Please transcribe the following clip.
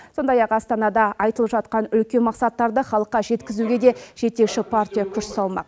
сондай ақ астанада айтылып жатқан үлкен мақсаттарды халыққа жеткізуге де жетекші партия күш салмақ